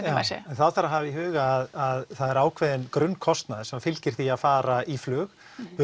þá þarf að hafa í huga að það er ákveðinn grunnkostnaður sem fylgir því að fara í flug burtséð